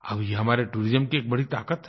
अब ये हमारी टूरिज्म की बड़ी ताक़त है